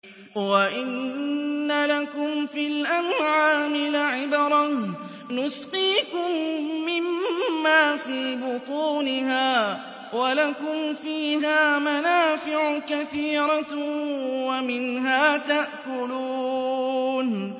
وَإِنَّ لَكُمْ فِي الْأَنْعَامِ لَعِبْرَةً ۖ نُّسْقِيكُم مِّمَّا فِي بُطُونِهَا وَلَكُمْ فِيهَا مَنَافِعُ كَثِيرَةٌ وَمِنْهَا تَأْكُلُونَ